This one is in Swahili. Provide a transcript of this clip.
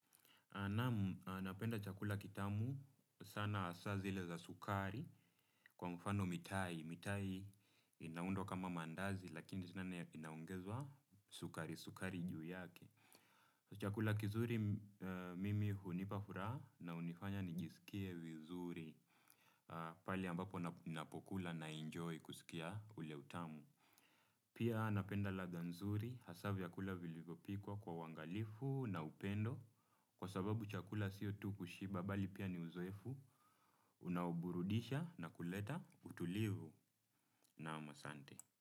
Naam. Napenda chakula kitamu sana asa zile za sukari kwa mfano mitai. Mitai ina undo kama mandaazi lakini sinana inaongezwa sukari, sukari juu yake. Chakula kizuri mimi hunipa furaha na hunifanya nijisikie vizuri pale ambapo napokula na enjoy kusikia ule utamu. Pia napenda ladha nzuri hasa vyakula vilivopikwa kwa uangalifu na upendo. Kwa sababu chakula sio tu kushiba bali pia ni uzoefu unaoburudisha na kuleta utulivu naam asante.